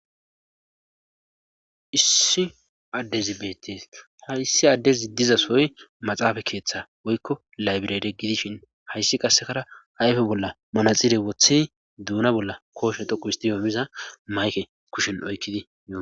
Issi addezi beetes ha issi adde ziddiza soy maxaafa keeththa woykko laybirede gidishin hayssi qassekara ayfe bolla manaxire woththi duuna bolla kooshe dhoqu histiyoomiza mayke kushin oykkidi.